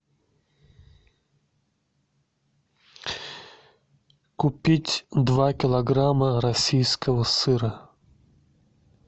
купить два килограмма российского сыра